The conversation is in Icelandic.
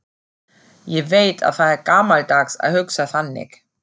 Ég veit að það er gamaldags að hugsa þannig.